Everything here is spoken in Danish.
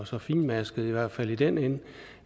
så finmasket i hvert fald i den ende